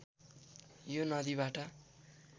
यो नदीबाट